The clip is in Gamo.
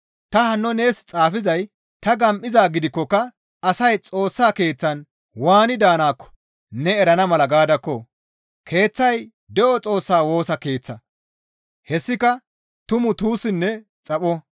Ta hanno nees xaafizay ta gam7izaa gidikkoka asay Xoossa Keeththan waani daanaakko ne erana mala gaadakko! Keeththay de7o Xoossaa Woosa Keeththa; hessika tumu tuussinne xapho.